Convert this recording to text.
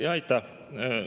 Jaa, aitäh!